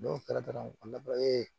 N'o kɛra dɔrɔn u labaarali ye